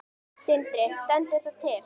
Sindri: Stendur það til?